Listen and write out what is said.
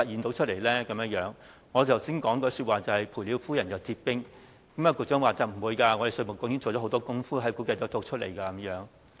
我剛才形容是賠了夫人又折兵，局長說不會這樣，稅務局已經做了很多工夫，把數據計算出來。